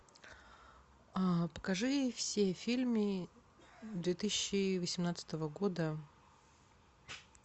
покажи все фильмы две тысячи восемнадцатого года